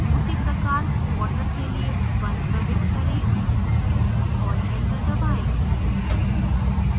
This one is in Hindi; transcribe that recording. उसी प्रकार water के लिए 1 प्रविष्ट करें और enter दबाएँ